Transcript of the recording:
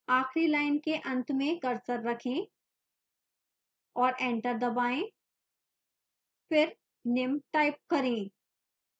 आखिरी line के अंत में cursor रखें और enter दबाएं फिर निम्न टाइप करें